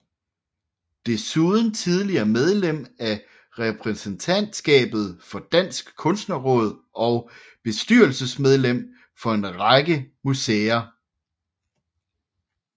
Desuden tidligere medlem af repræsentantskabet for Dansk Kunstnerråd og bestyrelsesmedlem for en lang række museer